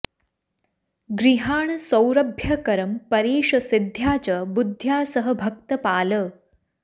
गृहाण सौरभ्यकरं परेश सिद्ध्या च बुद्ध्या सह भक्तपाल